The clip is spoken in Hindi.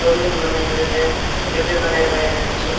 रोलिंग बनाई हुई हैं डीब्बे बनाए हुए हैं छो--